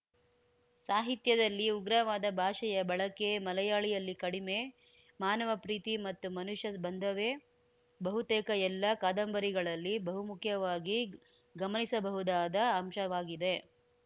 ಸಾಹಿತ್ಯದಲ್ಲಿ ಉಗ್ರವಾದ ಭಾಷೆಯ ಬಳಕೆ ಮಲಯಾಳಿಯಲ್ಲಿ ಕಡಿಮೆ ಮಾನವ ಪ್ರೀತಿ ಮತ್ತು ಮನುಷ್ಯ ಬಂಧವೇ ಬಹುತೇಕ ಎಲ್ಲಾ ಕಾದಂಬರಿಗಳಲ್ಲಿ ಬಹುಮುಖ್ಯವಾಗಿ ಗಮನಿಸಬಹುದಾದ ಅಂಶವಾಗಿದೆ